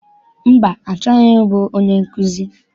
Mba, achọghị m ịbụ onye nkụzi.